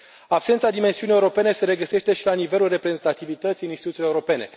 Absența dimensiunii europene se regăsește și la nivelul reprezentativității în instituțiile europene.